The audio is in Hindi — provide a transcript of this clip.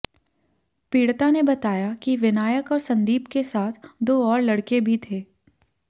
पीड़िता ने बताया कि विनायक और संदीप के साथ दो और लड़के भी थे